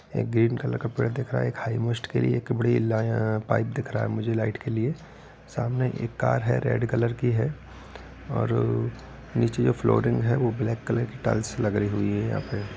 एक green colour का पेड़ दिख रहा है। एक हिघ्मोस्ट किरी एक बड़ी इला यहाँ पाइप दिख रहा है मुझे लाइट के लिए। सामने एक कार है रेड कलर की है और नीचे जो फ्लोरिंग है वो ब्लैक कलर की टाइल्स लगी हुई है यहाँ पे।